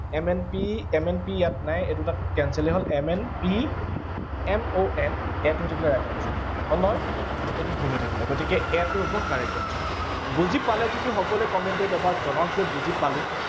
m n p, m n p ইয়াত নাই, এই দুটা cancel য়েই হল। m n p, m o n, a টো হৈ থাকিলে right answer । হল নহয়, এইটো ভুল হৈ থাকিলে, গতিকে a টো হব correct answer, বুজি পালে যদি সকলোৱে comment ত এবাৰ জনাওক যে বুজি পালো।